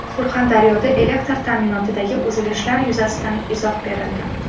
Surxondaryoda elektr ta’minotidagi uzilishlar yuzasidan izoh berildi.